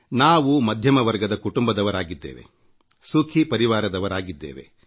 ನಾವು ಮಧ್ಯಮ ವರ್ಗದ ಕುಟುಂಬದವರಾಗಿದ್ದೇವೆ ಸುಖೀ ಪರಿವಾರದವರಾಗಿದ್ದೇವೆ